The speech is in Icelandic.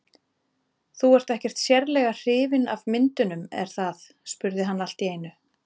Þú ert ekkert sérlega hrifin af myndunum, er það? spurði hann allt í einu.